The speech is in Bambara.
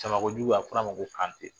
Tamakojugu a fɔr'a ma ko Kantɛ